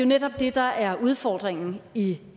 netop det der er udfordringen i